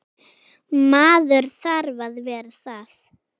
Maður þarf að vera það.